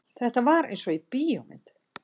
Þetta var einsog í bíómynd.